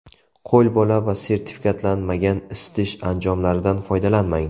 Qo‘lbola va sertifikatlanmagan isitish anjomlaridan foydalanmang.